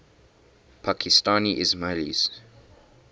pakistani ismailis